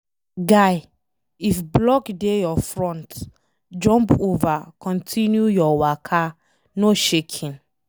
Guy, if block dey your front, jump over continue your waka no shaking